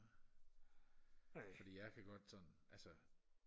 fordi jeg kan godt sådan altså